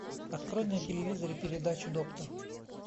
открой на телевизоре передачу доктор